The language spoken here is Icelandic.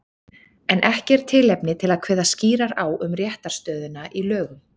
En er ekki tilefni til að kveða skýrar á um réttarstöðuna í lögum?